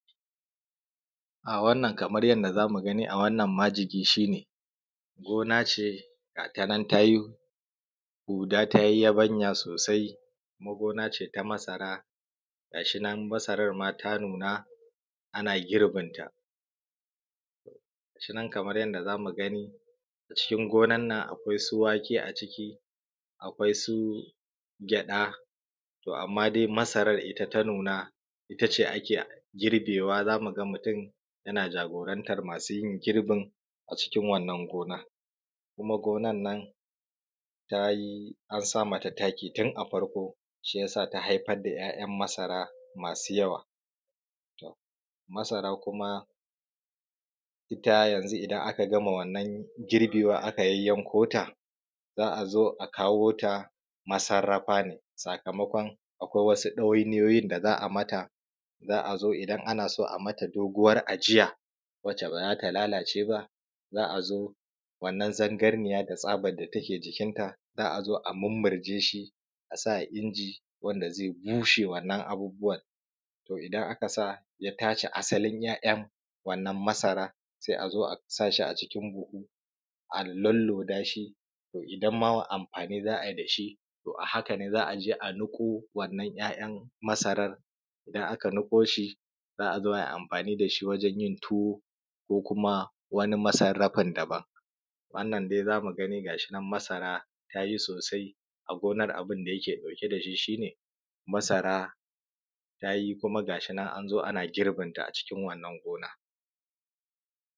A wannan kamar yadda za mu gani a wannan majini shi ne gona ce, ga ta nan ta yi guda ta yi yabanya, sai gona ce ta masara gashi nan masaran ma ta nuna ana girbinsa; gashinan kamar yadda za mu gani cikin gonan nan; akwai su wake a ciki, akwai su haɗa amma su masaran dai masaran ne ta nuna ita ce ake girbewa. Za mu ga mutum yana jagorantan masu yin girbin cikin a cikin wannan gonan kaman gonan nan ta yi tun a farko an sa masa taki shiyasa ta haifar da ‘ya’yan masara masu yawa. Masara kuma idan aka gama wannan girbewa aka yayyanko ta za a zo a kawo ta masarrafa ne sakamakon akwai wasu ɗawainuyoyi da za a mata, za a zo idan ya so a yi wani ajiya wadda ba za ta lalace ba, za a zo wannan tabkanniya da tsabar da ta ke jikinta, za a zo a mummurje shi a sa inji wanda ze bushe wannan abubbuwan to idan aka sa ya tace wannan asalin ‘ya’yan wannan masaran se a zo a sa shi a cikin buhu a mummurza shi idan za a yi amfani da shi a haka ne za a je a niƙo wannan ‘ya’yan masarar. Idan aka niƙo shi za a zo a yi amfani da shi wajen yin tuwo ko kuma wani masarradin daban wannan dai za mu gani gashi nan dai masara ta yi sosai a gonan, abun da yake ɗauke da shi shi ne masara ta yi, kuma gashi nan an zo, ana girbinta a cikin wannan gona.